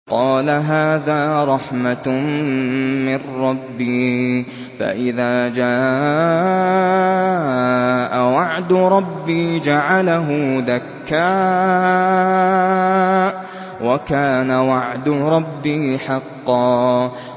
قَالَ هَٰذَا رَحْمَةٌ مِّن رَّبِّي ۖ فَإِذَا جَاءَ وَعْدُ رَبِّي جَعَلَهُ دَكَّاءَ ۖ وَكَانَ وَعْدُ رَبِّي حَقًّا